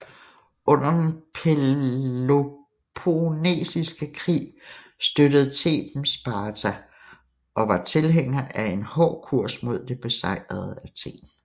Under den Peloponnesiske Krig støttede Theben Sparta og var tilhænger af en hård kurs mod det besejrede Athen